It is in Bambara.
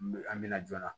An bɛ na joona